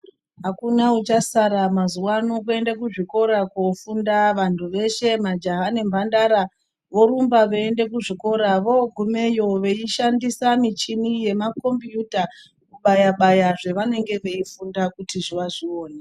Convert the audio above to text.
Akuna uchasara mazuwano kuende kuzvikora kofunda vantu vese majaha nemhandara vorumba veiende kuzvikora vagumeyo veishandisa muchini yemakombuyuta kubayabaya zvavanenge veifunda kuti vazvione.